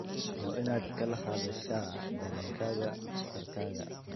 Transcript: Waa inaad kala hadashaa dareenkaaga dhakhtarkaaga.